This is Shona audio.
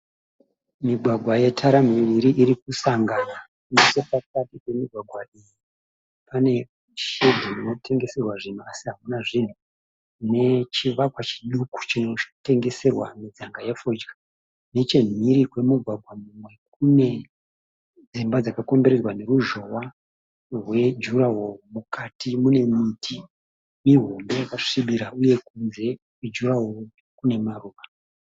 Migwagwa yatara miviri irikusakangana. Nechepakati pemigwagwa iyi pane shedhi inotengeserwa zvinhu asi hamuna zvinhu nechivakwa chiduku chinotengeserwa midzamga fodya. Nechemhiri kwemugwagwa mumwe kune dzimba dzakakomberedzwa neruzhowa rwejuraho. Mukati munemiti mihombe yakasvibira uye kunze kwejuraho kunemaruva.